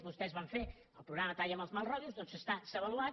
vostès van fer el programa talla amb els mals rotllos doncs s’ha avaluat